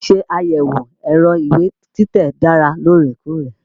Ṣíṣe àyẹ̀wò ẹ̀rọ ìwé títẹ̀ dára lóòrèkóòrè.